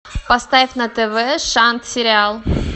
поставь на тв шант сериал